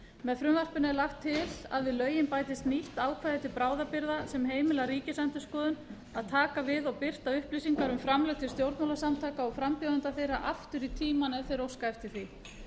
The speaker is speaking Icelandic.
með frumvarpinu er lagt til að við lögin bætist nýtt ákvæði til bráðabirgða sem heimilar ríkisendurskoðun að taka við og birta upplýsingar um framlög til stjórnmálasamtaka og frambjóðenda þeirra aftur í tímann ef þeir óska eftir því